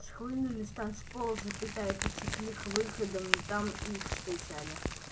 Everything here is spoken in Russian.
схлынули с танцпола запятая потекли к выходам но там их встречали